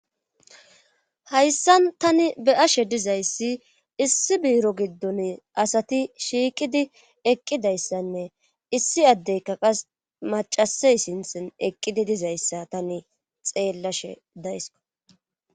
Hayssan tani be ashe dizayssi issi biiro giddon asati shiiqidi eqqidayssanne issi addeyka qas macasay sinthen eqqidi dizayssa tani xeellashe daysko.